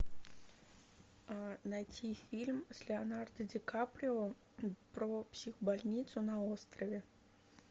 найти фильм с леонардо ди каприо про психбольницу на острове